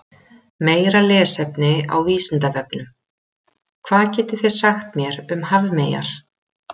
Meira lesefni á Vísindavefnum: Hvað getið þið sagt mér um hafmeyjar?